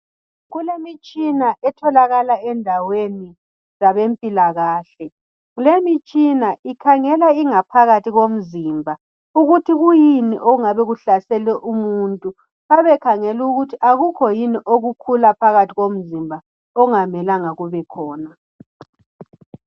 Kulemitshina etholakala endaweni zabempilakahle. Lemitshina ikhangela ingaphakathi yomzimba ukuthi kuyini okungabe kuhlasele umuntu. Kuyabe kukhangelw' ukuthi akukho yini okukhula phakathi komzimba okungamelanga kubekhona.